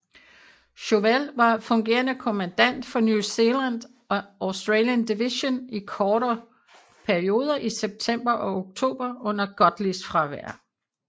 Chauvel var fungerende kommandant for New Zealand and Australian Division i korte perioder i september og oktober under Godleys fravær